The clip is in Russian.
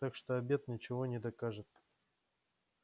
так что обед ничего не докажет